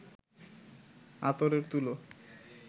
আতরের তুলো